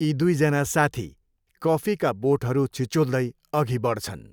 यी दुईजना साथी कफीका बोटहरू छिचोल्दै अघि बढ्छन्।